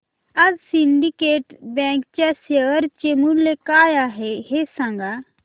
आज Syndicate Bank च्या share चे मूल्य काय आहे हे सांगा